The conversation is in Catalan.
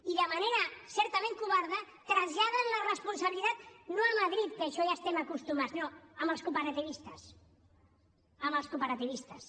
i de manera certament covarda traslladen la responsabilitat no a madrid que a això ja hi estem acostumats no als cooperativistes als cooperativistes